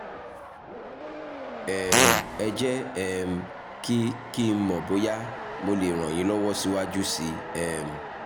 um ẹ jẹ́ um kí kí n mọ̀ bóyá mo lè ràn yín lọ́wọ́ síwájú sí um i